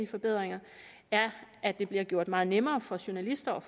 forbedringer er at det bliver gjort meget nemmere for journalister og